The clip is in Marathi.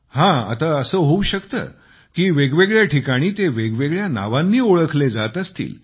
हं आता असं होऊ शकते की वेगवेगळ्या ठिकाणी ते वेगवेगळ्या नावांनी ओळखले जात असतील